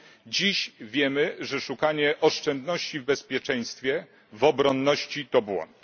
Dziś wiemy, że szukanie oszczędności w bezpieczeństwie, w obronności to błąd.